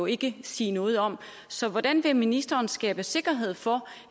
ikke sige noget om så hvordan vil ministeren skabe sikkerhed for